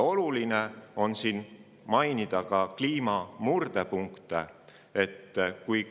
Oluline on siinkohal mainida ka kliima murdepunkte.